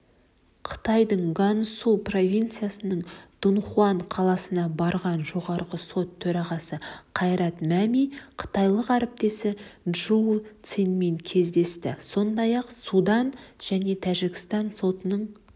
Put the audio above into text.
қытайдың ганьсу провинциясының дуньхуан қаласына барған жоғарғы сот төрағасы қайрат мәми қытайлық әріптесі чжоу цянмен кездесті іондай-ақ судан және тәжікстан сотының